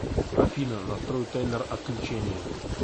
афина настрой таймер отключения